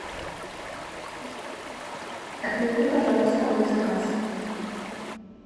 отмени пожалуйста мой заказ